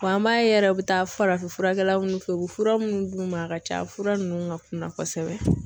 an b'a ye u bɛ taa farafin furakɛlaw fɛ u bɛ fura minnu d'u ma a ka ca fura ninnu ka kunna kosɛbɛ.